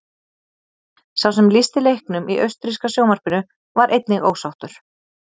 Sá sem lýsti leiknum í austurríska sjónvarpinu var einnig ósáttur.